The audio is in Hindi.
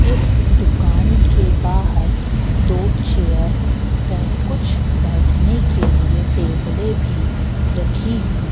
इस दुकान के बाहर दो चेयर वै कुछ बैठने के लिए टेबले भी रखी हुई--